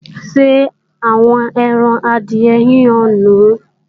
Ṣé àwọn ẹran adìyẹ yíyan nùu?